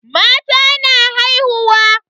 Mata na haihuwa.